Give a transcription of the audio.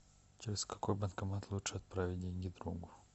через какой банкомат лучше отправить деньги другу